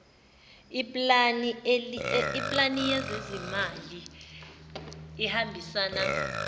iplani yezezimali ihambisana